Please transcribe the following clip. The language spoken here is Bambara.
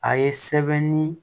A ye sɛbɛnni